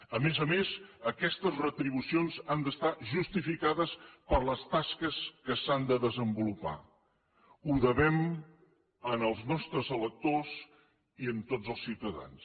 a més a més aquestes retribucions han d’estar justificades per les tasques que s’han de desenvolupar ho devem als nostres electors i a tots els ciutadans